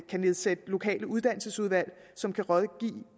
kan nedsætte lokale uddannelsesudvalg som kan rådgive